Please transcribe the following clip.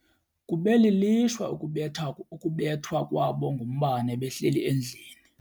Kube lilishwa ukubethwa kwabo ngumbane behleli endlini.